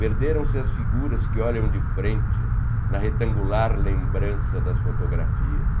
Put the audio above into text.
Perderam-se as figuras que olham de frente na retangular lembrança das fotografias.